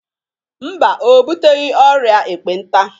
Mba, o buteghi ọrịa ekpenta.